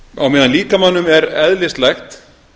á meðan líkamanum er eðlislægt